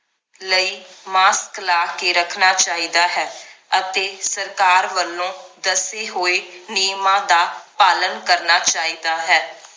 ਲਈ mask ਲਾ ਕੇ ਰੱਖਣਾ ਚਾਹੀਦਾ ਹੈ ਅਤੇ ਸਰਕਾਰ ਵੱਲੋਂ ਦੱਸੇ ਹੋਏ ਨਿਯਮਾਂ ਦਾ ਪਾਲਣ ਕਰਨਾ ਚਾਹੀਦਾ ਹੈ